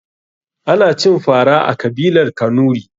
Ana cin fara a kabilar kanuri.